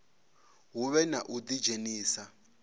hu vhe na u ḓidzhenisa